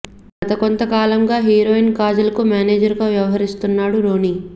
గత కొంత కాలంగా హీరోయిన్ కాజల్ కు మేనేజర్ గా వ్యవహరిస్తున్నాడు రోని